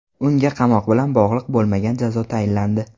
Unga qamoq bilan bog‘liq bo‘lmagan jazo tayinlandi.